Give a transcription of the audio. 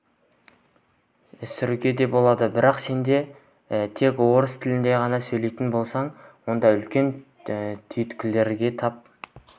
сүруге де болады бірақ сен тек орыс тілінде ғана сөйлейтін болсаң онда үлкен түйткілдерге тап